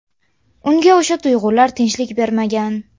Unga o‘sha tuyg‘ular tinchlik bermagan.